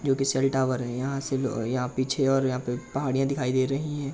जो कि cell tower है यहाँ से लो यहाँ पीछे और यहाँ पहड़िया दिखाई दे रही हैं।